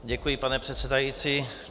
Děkuji, pane předsedající.